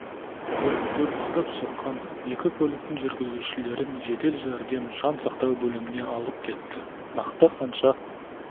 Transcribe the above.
көлікті барып соққан екі көліктің жүргізушілерін жедел жәрдем жан сақтау бөліміне алып кетті нақты қанша